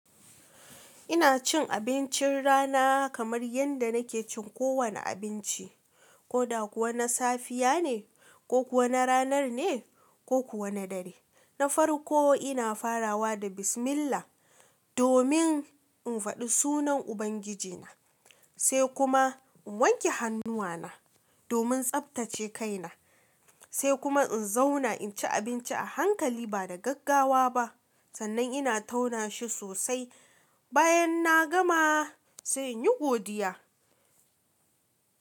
Ina cin abincin rana kamar yanda nake cin kowane abinci, ko da kuwa na safiya ne, ko kuwa na ranar ne, ko kuwa na dare. Na farko ina farawa da bismillah, domin in faɗi sunan Ubangijina, sai kuma in wanke hannuwana domin tsaftace kaina, sai kuma in zauna in ci abinci a hankali ba da gaggawa ba. Sannan ina tauna shi sosai bayan na gama, sai in yi godiya.